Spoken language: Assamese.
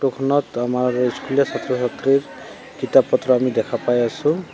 ফটোখনত আমাৰ স্কুলীয়া ছাত্ৰ ছাত্ৰীৰ কিতাপ পত্ৰ দেখা পাই আছোঁ।